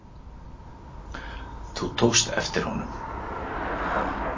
Þú tókst eftir honum?